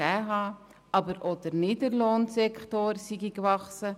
Gleichzeitig sei auch der Niedriglohnsektor gewachsen;